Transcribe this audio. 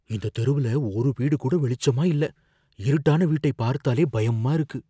இந்த தெருவுல ஒரு வீடு கூட வெளிச்சமா இல்ல. இருட்டான வீட்டை பார்த்தாலே பயமா இருக்கு.